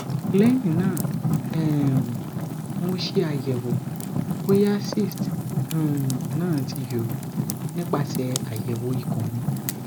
lehin na um mo se ayewo boya cysts um na ti yoro nipase ayewo ikun mi